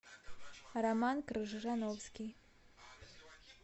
роман крыжановский